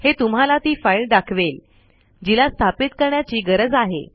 हे तुम्हाला ती फाईल दाखवेल जिला स्थापित करण्याची गरज आहे